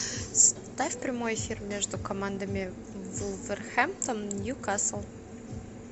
ставь прямой эфир между командами вулверхэмптон ньюкасл